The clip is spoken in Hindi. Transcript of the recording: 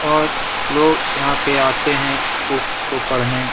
और लोग यहाँ पे आते हैं बुक्स को पढ़ने।